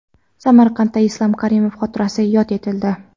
Samarqandda Islom Karimov xotirasi yod etildi .